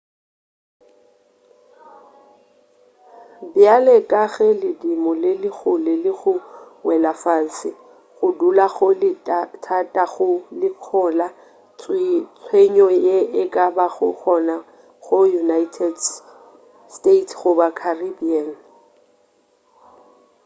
bjale ka ge ledimo le le kgole le go wela fase go dula go le thata go lekola tshenyo ye e ka bago gona go united states goba caribbean